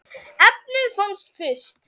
efnið fannst fyrst.